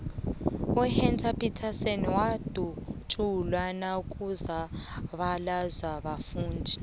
uhector peterson wadutsulwa nakuzabalaza abafundi